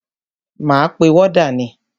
Máa pe wọ́dà ni.